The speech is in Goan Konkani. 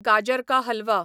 गाजर का हलवा